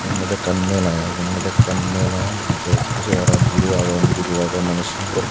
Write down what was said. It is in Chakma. eote ekan mala aye buro aagon guro aagon.